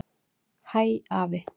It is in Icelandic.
Hæ, afi.